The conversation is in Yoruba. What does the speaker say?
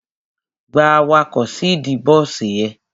Gba awakọ̀ síìdí bọ́sì ẹ!